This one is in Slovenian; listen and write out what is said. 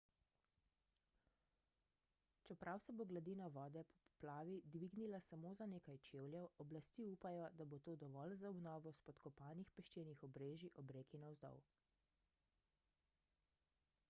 čeprav se bo gladina vode po poplavi dvignila samo za nekaj čevljev oblasti upajo da bo to dovolj za obnovo spodkopanih peščenih obrežij ob reki navzdol